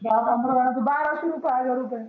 दहा पंधरा जनांच बाराशे रुपये हजार रुपये.